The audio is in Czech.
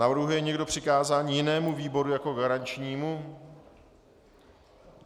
Navrhuje někdo přikázání jinému výboru jako garančnímu?